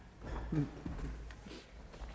får